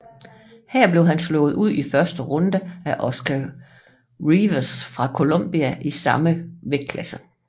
Her blev han slået ud i første runde af Óscar Rivas fra Colombia i samme vægtklasse